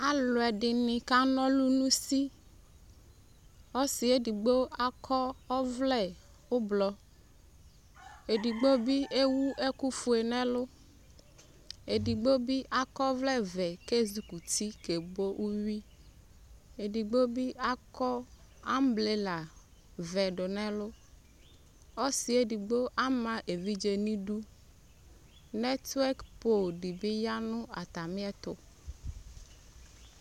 Ɛluɛde ne ka na ɔlu no usiƆsiɛ edigno akɔ ɔvlɛ ublɔEdigbo be ewu ɛkufue nɛlu Edigbo be akɔ ɔvlɛvɛ ke zukuti ke bo uwiEdigbo be akɔ ambrelavɛ do no ɛluAse edigbo be ama evidze ne du Nɛtwɛk pop de be ya no atame ɛto